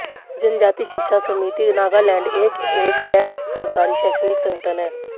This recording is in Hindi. जनजाति शिक्षा समिति नागालैंड एक एक गैर सरकारी शैक्षणिक संगठन है